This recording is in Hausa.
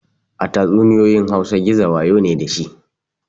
A tatsuniyoyin hausa gizo wayo ne dashi